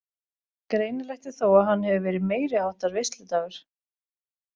Greinilegt er þó að hann hefur verið meiriháttar veisludagur.